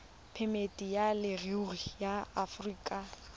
phemiti ya leruri ya aforika